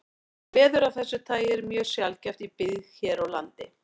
Veður af þessu tagi eru mjög sjaldgæf í byggð hér á landi.